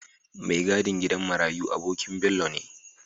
Me gadin gidan marayi abonkin Bello ne